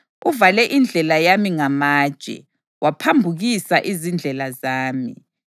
Uvale indlela yami ngamatshe; waphambukisa izindlela zami.